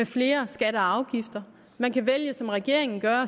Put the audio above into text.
flere skatter og afgifter man kan vælge som regeringen gør